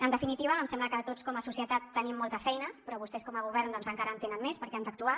en definitiva em sembla que tots com a societat tenim molta feina però vostès com a govern doncs encara en tenen més perquè han d’actuar